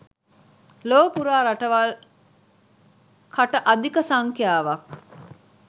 ලොව පුරා රටවල් කට අධික සංඛ්‍යාවක්